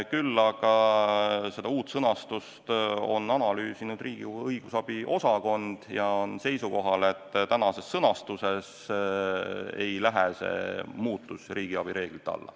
Küll aga seda uut sõnastust on analüüsinud Riigikogu Kantselei õigus- ja analüüsiosakond ning nad on seisukohal, et tänases sõnastuses ei lähe see muudatus riigiabi reeglite alla.